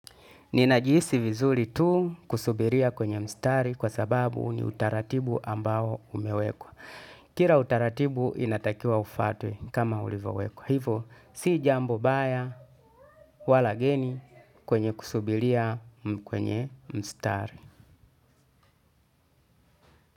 Ninajiisi vizuli tu kusubiria kwenye mstari kwa sababu ni utaratibu ambao umewekwa. Kira utaratibu inatakia ufate kama ulivowekwa. Hivo si jambo baya wala geni kwenye kusubiria kwenye mstari.